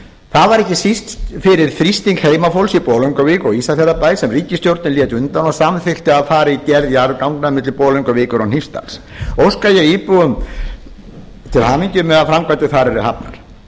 það var ekki síst fyrir þrýsting heimafólks í bolungarvík og ísafjarðarbæ sem ríkisstjórnin lét undan og samþykkti að fara í gerð jarðganga milli bolungarvíkur og hnífsdals óska ég íbúum til hamingju með að framkvæmdir þar yrðu hafnar